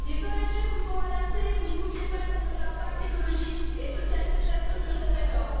Les ONG vous ont alertés, vous ne pouviez pas ignorer l'impact écologique et social désastreux de cet accord.